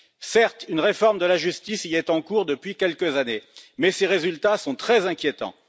Certes, une réforme de la justice y est en cours depuis quelques années, mais ses résultats sont très inquiétants.